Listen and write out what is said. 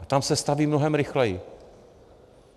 A tam se staví mnohem rychleji.